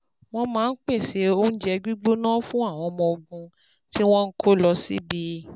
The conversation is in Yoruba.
Wọ́n máa ń pèsè oúnjẹ gbígbóná fún àwọn ọmọ ogun tí wọ́n ń kó lọ síbi